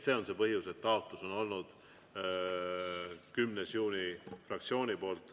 See on see põhjus, et fraktsiooni taotlus on olnud 10. juuni.